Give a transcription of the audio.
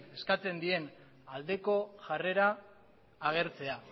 eskatzen dien aldeko jarrera agertzea